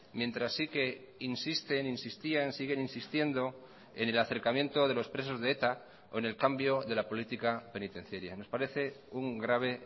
mientras sí que insisten insistían siguen insistiendo en el acercamiento de los presos de eta o en el cambio de la política penitenciaria nos parece un grave